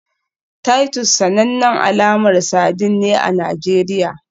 Titus sanannen alamar sardine ne a Najeriya